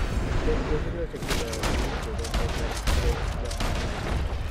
Miten terchinosiek chenoyotin chebo myondab Creutzfeldt Jakob .